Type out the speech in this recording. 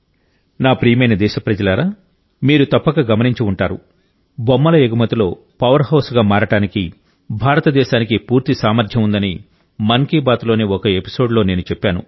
నా ప్రియమైన దేశప్రజలారా మీరు తప్పక గమనించి ఉంటారు బొమ్మల ఎగుమతిలో పవర్హౌస్గా మారడానికి భారతదేశానికి పూర్తి సామర్థ్యం ఉందని మన్ కీ బాత్లోని ఒక ఎపిసోడ్లో నేను చెప్పాను